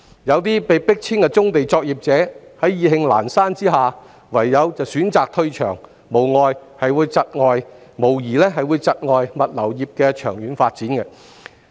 有些被迫遷的棕地作業者意興闌珊，唯有選擇退場，這無疑會窒礙物流業的長遠發展。